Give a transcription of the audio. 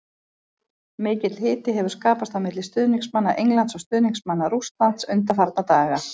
Mikill hiti hefur skapast á milli stuðningsmanna Englands og stuðningsmanna Rússland undanfarna daga.